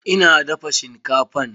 Ina dafa shinkafan.